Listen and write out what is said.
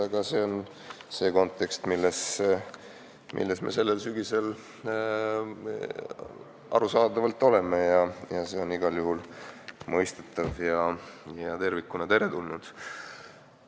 Aga see on see kontekst, milles me sellel sügisel arusaadavalt oleme, ja see on igal juhul mõistetav ja tervikuna teretulnud.